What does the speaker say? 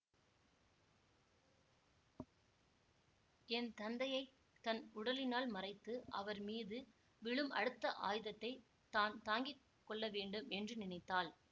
என் தந்தையை தன் உடலினால் மறைத்து அவர் மீது விழும் அடுத்த ஆயுதத்தைத் தான் தாங்கி கொள்ளவேண்டும் என்று நினைத்தாள்